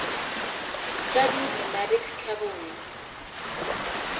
studied nomadic cavalry